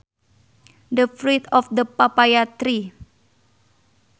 The fruit of the papaya tree